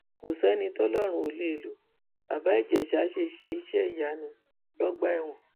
kò sẹni tọlọrun ò lè lo baba ìjèṣà ṣe ṣe iṣẹ ìyanu lọgbà ẹwọn